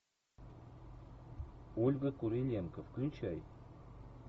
ольга куриленко включай